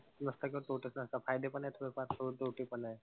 नसता करतो त त्याचे फायदे पण आहेत थोडेफार सोबत तोटे पण आहेत.